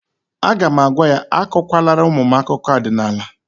A ga'm-agwa ya, akụkwa lara ụmụ m akụkọ ọdịnala